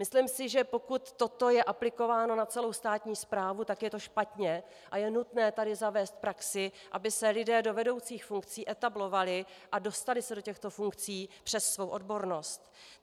Myslím si, že pokud toto je aplikováno na celou státní správu, tak je to špatně a je nutné tady zavést praxi, aby se lidé do vedoucích funkcí etablovali a dostali se do těchto funkcí přes svou odbornost.